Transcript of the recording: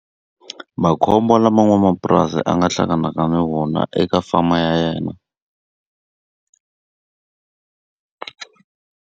Makhombo lama n'wamapurasi a nga hlanganaka na wona eka farm-a ya yena.